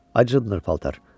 Acınır paltar!